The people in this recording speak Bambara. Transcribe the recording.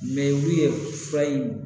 olu ye fura in